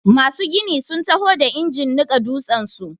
Masu gini sun taho da injin niƙa dutsen su.